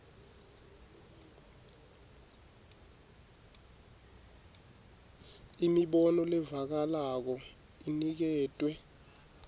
imibono levakalako iniketwe